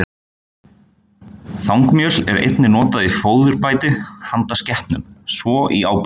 Þangmjöl er einnig notað í fóðurbæti handa skepnum, svo og í áburð.